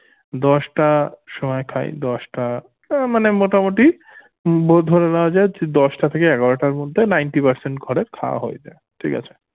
দশটার সময় খাই দশটা আহ মানে মোটামুটি ধরে নেয়া যায় যে দশটা থেকে এগারোটার মধ্যে ninty percent ঘরে খাওয়া হয়ে যায় ঠিক আছে